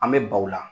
An bɛ baw la